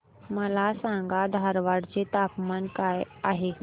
मला सांगा धारवाड चे तापमान काय आहे